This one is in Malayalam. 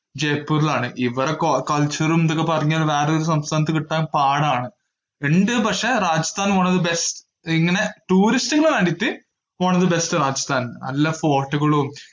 ജയ്‌പൂരിലാണ് ഇവിടെ co~ culture ഉം ഇതൊക്കെ പറഞ്ഞാൽ വേറെയൊരു സംസ്‌ഥാനത്തു കിട്ടാൻ പാടാണ്. ഇണ്ട് പക്ഷേ, Rajasthan one of the best ഇങ്ങനെ tourist ന് വേണ്ടീട്ട് പോണത് best രാജസ്ഥാൻ നല്ല fort കളും.